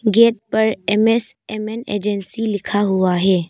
Gate पर M S M N agency लिखा हुआ है।